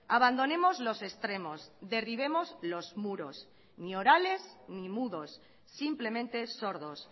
abandonemos los extremos derribemos los muros ni orales ni mudos simplemente sordos